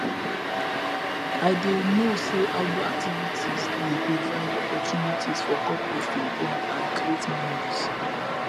i dey know say outdoor activities dey provide opportunities for couples to bond and create memories